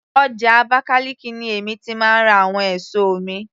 Ọjà Abakaliki ni èmi ti máa ń ra àwọn èso mi